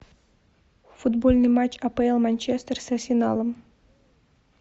футбольный матч апл манчестер с арсеналом